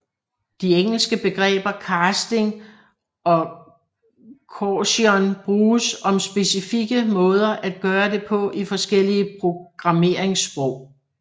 De engelske begreber casting og coercion bruges om specifikke måder at gøre det på i forskellige programmeringssprog